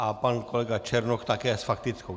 A pan kolega Černoch také s faktickou.